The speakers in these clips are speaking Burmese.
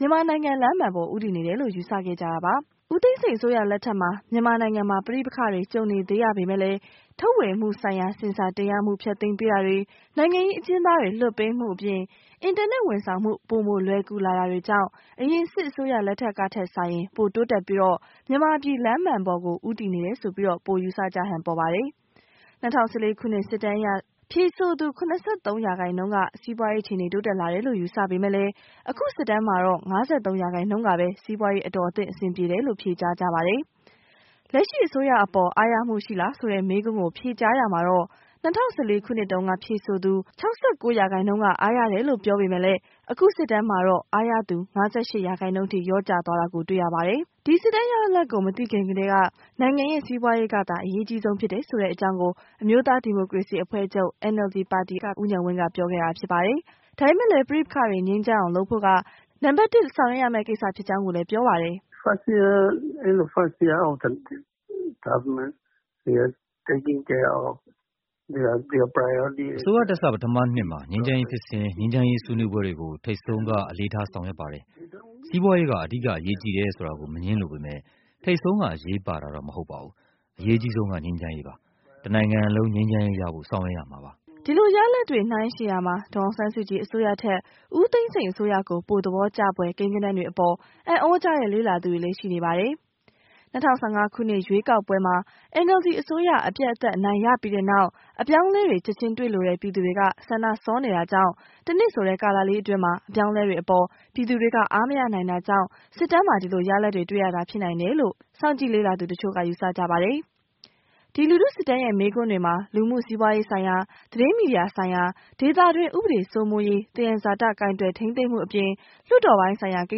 မြန်မာနိုင်ငံ လမ်းမှန်ကို ဦးတည်နေတယ်လို့ ယူဆခဲ့ကြတာပါ။ ဦးသိန်းစိန်အစိုးရ လက်ထက်မှာ မြန်မာနိုင်ငံမှာ ပဋိပက္ခတွေ ကြုံနေရသေးပေမယ့်လည်း ထုတ်ဝေမှုဆိုင်ရာ ဆင်ဆာတင်ရမှု ဖျက်သိမ်းပေးတာတွေ၊ နိုင်ငံရေး အကျဉ်းသားတွေ လွှတ်ပေးမှုအပြင် အင်တာနက်ဝန်ဆောင်မှု ပိုမိုလွယ်ကူလာမှုတွေကြောင့် အရင် စစ်အစိုးရ လက်ထက်ကထက်စာရင် ပိုတိုးတက်ပြီး မြန်မာပြည် လမ်းမှန်ကို ဦးတည်နေတယ်လို့ ပိုယူဆကြဟန် ပေါ်ပါတယ်။ ၂၀၁၄ ခုနှစ် စစ်တမ်းအရ ဖြေဆိုသူ ၇၃ ရာခိုင်နှုန်းက စီးပွားရေး အခြေအနေ တိုးတက်လာတယ်လို့ ယူဆပေမယ့် အခု စစ်တမ်းမှာတော့ ၅၃ ရာခိုင်နှုန်းကပဲ စီးပွားရေး အတော်အသင့် အဆင်ပြေတယ်လို့ ဖြေကြားကြတာပါ။ လက်ရှိ အစိုးရအပေါ် အားရမှုရှိလားဆိုတဲ့ မေးခွန်းကို ဖြေကြားရာမှာတော့ ၂၀၁၄ ခုနှစ်တုန်းက ဖြေဆိုသူ ၆၉ ရာခိုင်နှုန်းက အားရတယ်လို့ ပြောပြီး အခုစစ်တမ်းမှာတော့ အားရသူ ၅၈ ရာခိုင်နှုန်းထိ လျော့ကျလာတာကို တွေ့ရပါတယ်။ ဒီစစ်တမ်းရလဒ်ကို မသိရခင ်ကတည်းက နိုင်ငံရဲ့ စီးပွားရေးကသာ အရေးအကြီးဆုံး ဖြစ်တယ်ဆိုတဲ့ အကြောင်းကို အမျိုးသား ဒီမိုကရေစီအဖွဲ့ချုပ် NLD ပါတီ ဥက္ကဌ ဒေါ်အောင်ဆန်းစုကြည်က ပြောခဲ့တာဖြစ်ပါတယ်။ ဒါပေမယ့်လည်း ပဋိပက္ခတွေ ငြိမ်းအောင်လုပ်ဖို့ က နံပတ် ၁ ဆောင်ရွက်ရမယ့် ကိစ္စဖြစ်ကြောင်းလည်း ပြောပါတယ်။ “အစိုးရတက်စ ပထမနှစ်မှာ ငြိမ်းချမ်းရေးဖြစ်စဉ်၊ ငြိမ်းချမ်းရေး ဆွေးနွေးပွဲတွေကို ထိပ်ဆုံးက အလေးထား ဆောင်ရွက်ပါတယ်။ စီးပွားရေးက အဓိက အရေးကြီးတယ်ဆ ိုတာကို မငြင်းလိုပေမယ့် ထိပ်ဆုံးက အရေးပါတာတော့ မဟုတ်ပါဘူး။ အရေးအကြီးဆုံးက ငြိမ်းချမ်းရေးပါ။ တစ်နိုင်ငံလုံး ငြိမ်းချမ်းရေးရဖို့ ဆောင်ရွက်ရမှာပါ။” ဒီလို ရလဒ်တွေကို နှိုင်းယှဉ်ရာမှာ ဒေါ်အောင်ဆန်းစုကြည် အစိုးရထက် ဦးသိန်းစိန် အစိုးရကို ပိုသဘောကျဖွယ် ကိန်းဂဏန်းတွေ အပေါ် အံ့သြကြတဲ့ လေ့လာသူတွေလည်း ရှိကြပါတယ်။ ၂၀၁၅ ခုနှစ် ရွေးကောက်ပွဲမှာ NLD အစိုးရ အပြတ်အသတ် အနိုင်ရပြီးတဲ့နောက် အပြောင်းအလဲတွေ ချက်ချင်းတွေ့လိုတဲ့ ပြည်သူတွေက ဆန္ဒစောနေတာကြောင့် ၁ နှစ်ဆိုတဲ့ ကာလအတွင်း အပြောင်းအလဲတွေ အပေါ် ပြည်သူတွေက အားမရနိုင်တာကြောင့် စစ်တမ်းမှာ ဒီလိုရလဒ်တွေ တွေ့ရတာ ဖြစ်နိုင်တယ်လို့ စောင့်ကြည့်လေ့လာသူ တချို့က ယူဆကြပါတယ်။ ဒီလူထုစစ်တမ်းရဲ့ မေးခွန်းတွေမှာ လူမှုစီးပွားရေးဆိုင်ရာ၊ သတင်းမီဒီယာ ဆိုင်ရာ၊ ဒေသတွင်း ဥပဒေစိုးမိုးရေး၊ သယံဇာတ ကိုင်တွယ် ထိန်းသိမ်းမှုအပြင် လွှတ်တော်ပိုင်းဆိုင်ရာ ကိ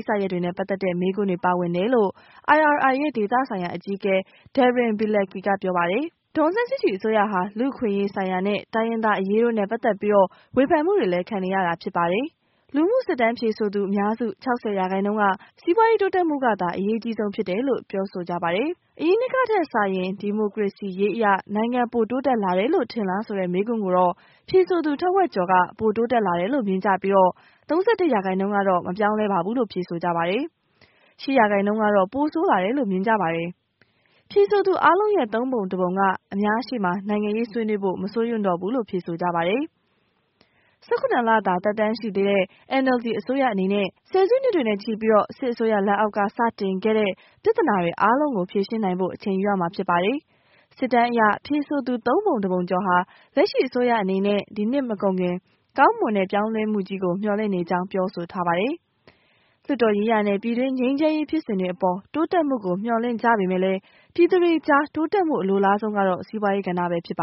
စ္စရပ်တွေနဲ့ ဆိုင်တဲ့ မေးခွန်းတွေ ပါဝင်တယ်လို့ IRI ရဲ့ ဒေသဆိုင်ရာ အကြီးအကဲ Darin Bielecki က ပြောပါတယ်။ “နိုင်ငံတစ်ဝှမ်း ပြည်သူ ၃ ထောင်ရဲ့ အဖြေတွေကို ရယူထားတာဖြစ်ပါတယ်။” ဒေါ်အောင်ဆန်းစုကြည် အစိုးရဟာ လူ့အခွင့်အရေးဆိုင်ရာနဲ့ တိုင်းရင်းသားအရေးတို့နဲ့ ပတ်သက်ပြီးလည်း ဝေဖန်မှုတွေ ခံနေရတာဖြစ်ပါတယ်။ လူမှုစစ်တမ်းဖြေဆိုသူ အများစု ၆၀ ရာခိုင်နှုန်းက စီးပွားရေး တိုးတက်မှုကသာ အရေးကြီးဆုံး ဖြစ်တယ်လို့ ဖြေဆိုကြပါတယ်။ အရင်နှစ်ကထက် စာရင် ဒီမိုကရေစီရေး အရ နိုင်ငံပိုတိုးတက်လာတယ်လို့ ထင်လားဆိုတဲ့မေးခွန်းကိုတော့ ဖြေဆိုသူ ထက်ဝက်ကျော်က ပိုတိုးတက်လာတယ်လို့ မြင်ပြီး ၃၁ ရာခိုင်နှုန်းက မပြောင်းလဲပါလို့ ဖြေကြပါတယ်။ ၈ ရာခိုင်နှုန်းကတော့ ပိုဆိုးလာတယ်လို့ မြင်ကြတာပါ။ ဖြေဆိုသူအားလုံးရဲ့ ၃ ပုံ ၁ ပုံက အများရှေ့မှာ နိုင်ငံရေး ဆွေးနွေးဖို့ မစိုးရွံ့တော့ဘူးလို့ ဖြေကြပါတယ်။ ၁၇ လ သာ သက်တမ်းရှိသေးတဲ့ NLD အစိုးရအနေနဲ့ ဆယ်စုနှစ်တွေနဲ့ချီ စစ်အစိုးရလက်အောက်က စတင်ခဲ့တဲ့ ပြဿနာတွေအားလုံးကို ဖြေရှင်းနိုင်ဖို့ အချိန်ယူရမှာ ဖြစ်ပါတယ်။ စစ်တမ်းအရ ဖြေဆိုသူ ၃ ပုံ ၁ ပုံ ကျော်ဟာ လက်ရှိအစိုးရအနေနဲ့ ဒီနှစ်မကုန်ခင် ကောင်းမွန်တဲ့ ပြောင်းလဲမှုကြီးတွေကို မျှော်လင့်နေကြောင်း ဖြေဆိုထားပါတယ်။ လွှတ်တော်ရေးရာနဲ့ ပြည်တွင်းငြိမ်းချမ်းရေးဖြစ်စဉ်တွေအပေါ် တိုးတက်မှုကို မျှော်လင့်ကြပေမယ့် ပြည်သူတွေကြား တိုးတက်မှု အလိုလားဆုံး ကတော့ စီးပွားရေးကဏ္ဍ ဖြစ်ပါ